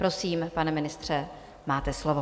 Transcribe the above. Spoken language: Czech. Prosím, pane ministře, máte slovo.